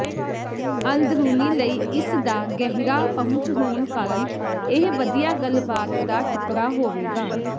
ਅੰਦਰੂਨੀ ਲਈ ਇਸਦਾ ਗਹਿਰਾ ਪਹੁੰਚ ਹੋਣ ਕਾਰਨ ਇਹ ਵਧੀਆ ਗੱਲਬਾਤ ਦਾ ਟੁਕੜਾ ਹੋਵੇਗਾ